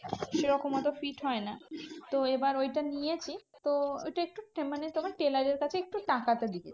সেরকম অত fit হয় না তো এবার ঐটা নিয়েছি। তো ঐটা একটু মানে তোমার tailor এর কাছে একটু টাকাটা লেগেছে।